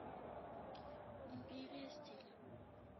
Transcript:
империя стиля